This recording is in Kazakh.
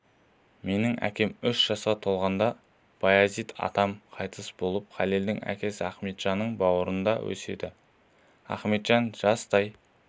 менің әкем үш жасқа толғанда баязит атам қайтыс болып халелдің әкесі ахметжанның бауырында өседі ахметжан жастай